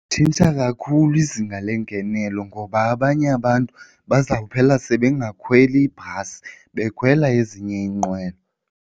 Litshintsha kakhulu izinga lengenelelo ngoba abanye abantu bazawuphela sebengasekhweli ibhasi bekhwela ezinye iinqwelo.